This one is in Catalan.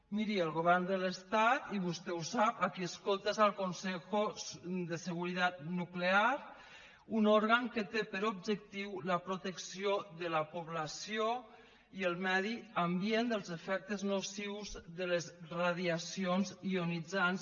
miri el govern de l’estat i vostè ho sap a qui escolta és al consejo de seguridad nuclear un òrgan que té per objectiu la protecció de la població i el medi ambient dels efectes nocius de les radiacions ionitzants